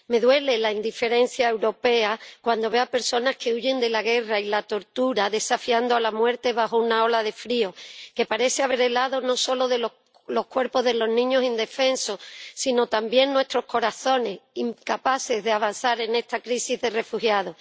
Me duele la indiferencia europea cuando veo a personas que huyen de la guerra y la tortura desafiando a la muerte bajo una ola de frío, que parece haber helado no solo los cuerpos de los niños indefensos, sino también nuestros corazones, incapaces de avanzar en esta crisis de refugiados.